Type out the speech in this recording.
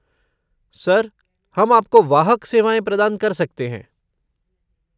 Sir, हम आपको वाहक सेवाएँ प्रदान कर सकते हैं।